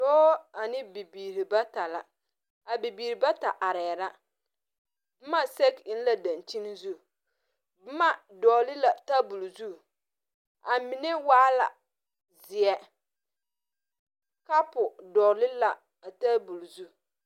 Doɔ ane bibiiri bata la a bibiiri bata arẽ la buma sege engee dankyeni zu buma dɔgli la tabuli zu a menne waa la zeɛ kapu dɔgle la a tabulo zu.